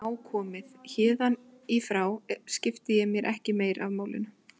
Nú er nóg komið, héðan í frá skipti ég mér ekki af málinu.